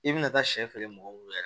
I bina taa siɲɛ feere mɔgɔw bolo yɛrɛ